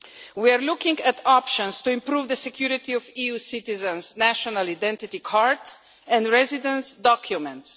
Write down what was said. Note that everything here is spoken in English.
We are looking at options to improve the security of EU citizens' national identity cards and residence documents.